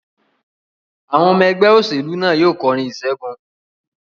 Àwọn ọmọ ẹgbẹ́ ìṣẹ̀lẹ̀ náà yóò kọrin ìṣẹ́gun.